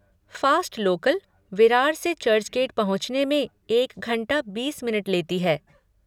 Fast local, Virar से Churchgate पहुँचने में एक घंटा बीस मिनट लेती है।